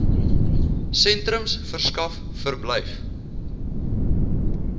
sentrums verskaf verblyf